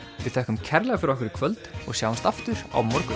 við þökkum kærlega fyrir okkur í kvöld og sjáumst aftur á morgun